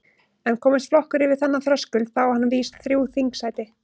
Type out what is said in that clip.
En komist flokkur yfir þennan þröskuld þá á hann vís þrjú þingsæti.